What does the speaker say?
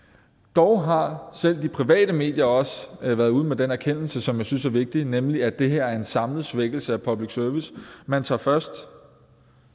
dog har selv de private medier også været ude med den erkendelse som jeg synes er vigtig nemlig at det her er en samlet svækkelse af public service man tager først